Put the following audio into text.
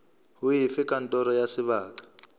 ho efe kantoro ya sebaka